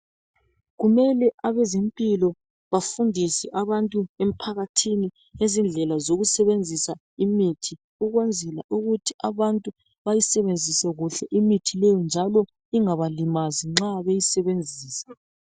Kumele abezempilo bafundise abantu emphakathini ngezindlela zokusebenzisa imithi ukwenzela ukuthi abantu bayisebenzise kuhle imithi leyi njalo ingabalimazi nxa beyisebenzisa.